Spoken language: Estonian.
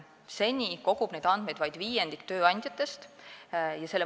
Seni on neid andmeid kogunud vaid viiendik tööandjatest.